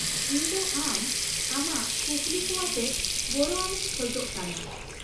-ᱤᱧ ᱫᱚ ᱟᱢ ᱟᱢᱟᱜ ᱠᱩᱠᱞᱤᱠᱚᱣᱟᱛᱮᱫ ᱜᱚᱲᱚᱣᱟᱢᱤᱧ ᱠᱷᱚᱡ ᱠᱟᱱᱟ ᱾